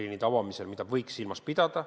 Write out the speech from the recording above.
Seda parameetrit võiks silmas pidada.